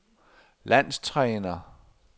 landstræner